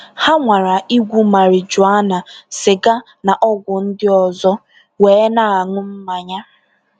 Ha nwara igwu marijuana, sịga na ọgwụ ndị ọzọ, wee na-aṅụ mmanya.